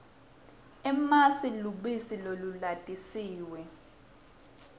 emasi lubisi lolulatisiwe